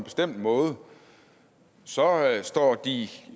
så